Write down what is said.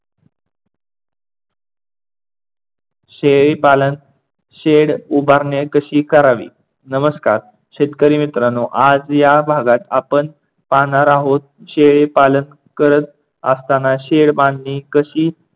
शेळी पालन शेड उभारणी कशी करावी? नमस्कार शेतकरी मित्रांनो आज या भागात आपण पाहणार आहोत शेळी पालन करत असताना शेड बांधणी कशी